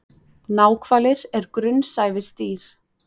Náhvalir er grunnsævisdýr.